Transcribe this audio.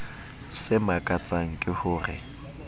se makatsang ke ho re